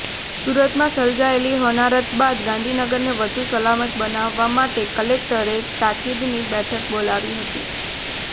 સુરતમાં સર્જાયેલી હોનારત બાદ ગાંધીનગરને વધુ સલામત બનાવવા માટે કલેક્ટરે તાકિદની બેઠક બોલાવી હતી